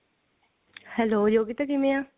hello Yogita ਕਿਵੇਂ ਐ